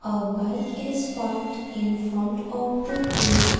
a bike is parked in front of the gate.